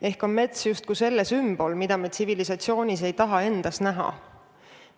Ehk on mets justkui selle sümbol, mida me tsivilisatsioonis ei taha näha.